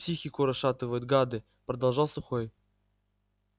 психику расшатывают гады продолжал сухой